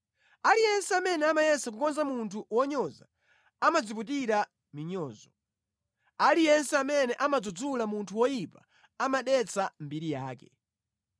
Aliyense amene amayesa kukonza munthu wonyoza amadziputira minyozo; aliyense amene amadzudzula munthu woyipa amadetsa mbiri yake.